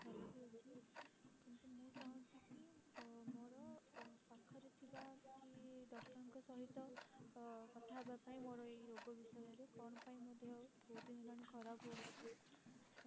ଭଲ ବି ଅଛି କିନ୍ତୁ ମୁଁ ଚାହୁଁଛି କି ମୋର ପାଖରେ ଥିବା କିଛି doctor ଙ୍କ ସହିତ ଅ କଥା ହବା ପାଇଁ ମୋର ଏଇ ରୋଗ ବିଷୟରେ କଣ ପାଇଁ ମୋ ଦେହ ବହୁତ ଦିନ ହେଲାଣି ଖରାପ ହଉଛି